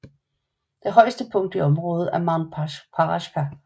Det højeste punkt i området er Mount Parashka